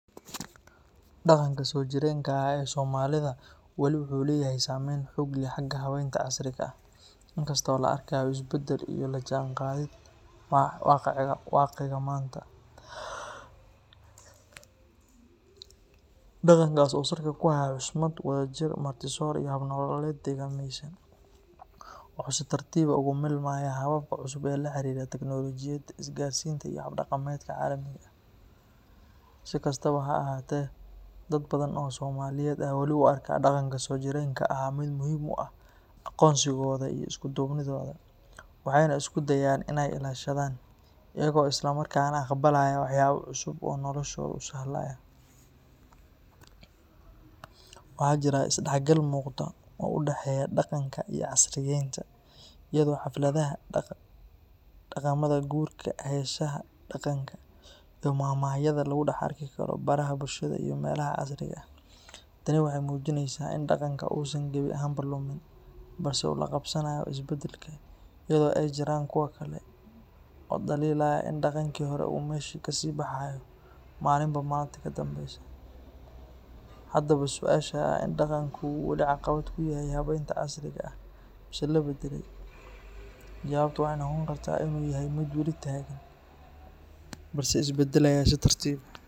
Dhaqanka soojireenka ahaa ee Soomaalida weli wuxuu leeyahay saamayn xoog leh xagga habeynta casriga ah, inkasta oo la arkayo isbedel iyo la jaanqaadid waaqica maanta. Dhaqankaas oo salka ku haya xushmad, wadajir, martisoor, iyo hab nololeed deegaameysan, wuxuu si tartiib ah ugu milmayaa hababka cusub ee la xiriira tiknoolajiyadda, isgaarsiinta, iyo hab-dhaqameedka caalamiga ah. Si kastaba ha ahaatee, dad badan oo Soomaaliyeed ayaa wali u arka dhaqanka soojireenka ah mid muhiim u ah aqoonsigooda iyo isku duubnidooda, waxayna isku dayayaan in ay ilaashadaan, iyaga oo isla markaana aqbalaya waxyaabo cusub oo noloshooda u sahlaya. Waxaa jira is-dhexgal muuqda oo u dhexeeya dhaqanka iyo casriyeynta, iyadoo xafladaha, dhaqamada guurka, heesaha dhaqanka, iyo maahmaahyada lagu dhex arki karo baraha bulshada iyo meelaha casriga ah. Tani waxay muujinaysaa in dhaqanka uusan gebi ahaanba lumin, balse uu la qabsanayo isbedelka, iyadoo ay jiraan kuwo kale oo dhaliilaya in dhaqankii hore uu meesha ka sii baxayo maalinba maalinta ka dambaysa. Haddaba, su’aasha ah in dhaqanka uu weli caqabad ku yahay habeynta casriga ah mise la badalay, jawaabtu waxay noqon kartaa in uu yahay mid weli taagan balse isbedelaya si tartiib ah.